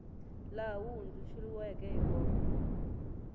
laha wu hundzuluxiweke hi kona